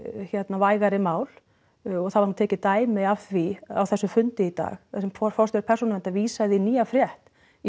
vægari mál og það var nú tekið dæmi af því á þessum fundi í dag þar sem að forstjóri Persónuverndar vísaði í nýja frétt í